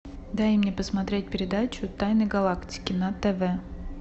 дай мне посмотреть передачу тайны галактики на тв